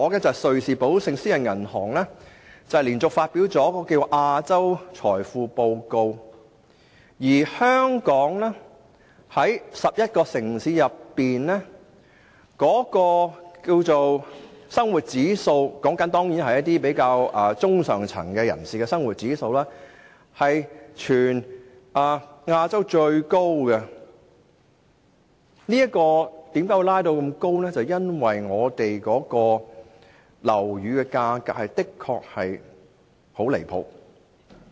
昨天瑞士寶盛私人銀行發表了《財富報告：亞洲》，當中指出在11個城市中，香港的生活指數——當然是指中上層人士的生活指數——冠絕亞洲城市。我們的生活指數之所以這麼高，是因為樓宇價格的確很離譜。